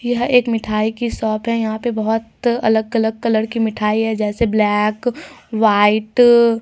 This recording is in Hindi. यह एक मिठाई की शॉप है यहां पे बहोत अलग अलग कलर की मिठाई है जैसे ब्लैक व्हाइट --